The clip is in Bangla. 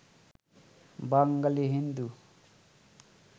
বাঙালি হিন্দু